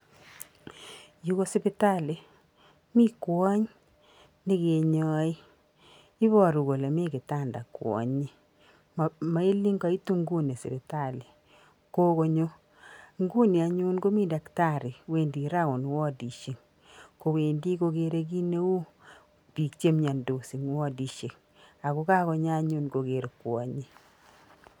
you ko sipitali mi kwony ne kenyai ibaruu kole mi kitanda kwonyi, mailen kaitu nguni sipitali, kokonyo nguni anyun komii daktari wendi round wodishek, kowendi kogere kii neu biik che myandos eng wodishek ak kakonyo anyun koger kwonyi.